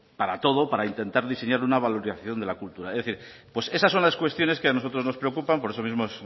para todo para intentar diseñar una valoración de la cultura es decir pues esas son las cuestiones que a nosotros nos preocupan por eso mismo